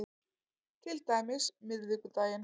Til dæmis miðvikudaginn